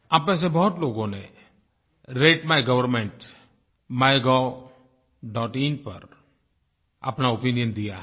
आप में से बहुत लोगों ने रते माय GovernmentMyGovइन पर अपना ओपिनियन दिया है